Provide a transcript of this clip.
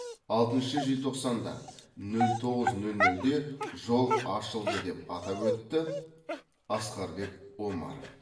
алтыншы желтоқсанда нөл тоғыз нөл нөлде жол ашылды деп атап өтті асқарбек омаров